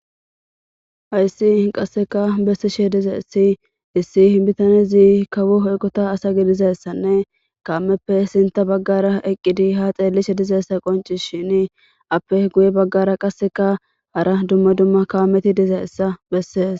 Hayssi qasseka bessishe dizessi issi hibitane zii kawo hoeqota asa gidizessanne kaameppe sinta baggara eqqidi ha xeellishe dizeessa qonci shin appe guye baggara qasseka hara dumma dumma kaameti dizeessa bessees.